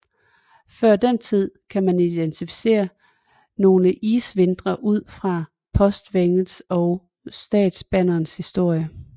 Før den tid kan man identicere nogle isvintre ud fra Postvæsenets og Statsbanernes historie